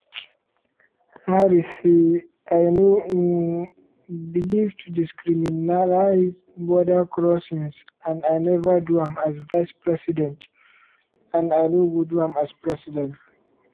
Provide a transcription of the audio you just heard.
harris say: “i no um believe to decriminalise border crossings and i neva do am as vice-president and i no go do am as president.”